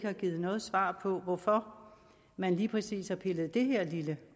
har givet noget svar på hvorfor man lige præcis har pillet det her lille